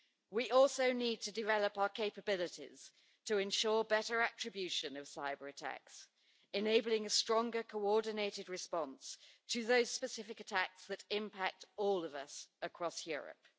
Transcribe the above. We also need to develop our capabilities to ensure better attribution of cyber-attacks, enabling a stronger coordinated response to those specific attacks that impact all of us across Europe.